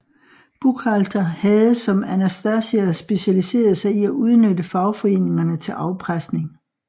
Buchalter havde som Anastasia specialiseret sig i at udnytte fagforeningerne til afpresning